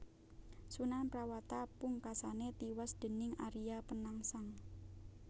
Sunan Prawata pungkasané tiwas déning Aria Penangsang